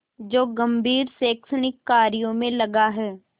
जो गंभीर शैक्षणिक कार्यों में लगा है